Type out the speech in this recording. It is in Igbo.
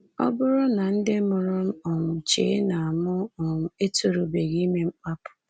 Ọ bụrụ na ndị mụrụ m um chee na mụ um etorubeghị ime mkpapụ?